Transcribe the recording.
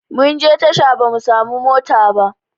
Munje tasha ba mu samu mota ba